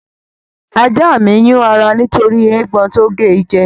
Ajá mi ń yún ara nítorí eégbọn tó ge jẹ